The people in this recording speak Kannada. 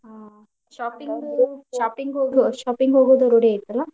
Shopping ಹೋಗು~ Shopping ಹೋಗೋ ರೂಢಿ ಐತಲ್ಲಾ